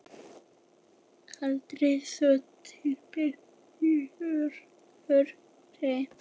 Kaldari sjór til bjargar humri?